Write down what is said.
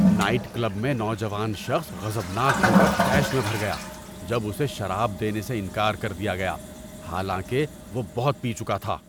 Night club میں نوجوان شخص غضبناک ہو کر طیش میں بھر گیا جب اسے شراب دینے سے انکار کر دیا گیا حالانکہ وہ بہت پی چکا تھا۔